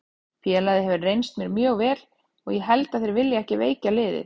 Félagið hefur reynst mér mjög vel og ég held að þeir vilji ekki veikja liðið.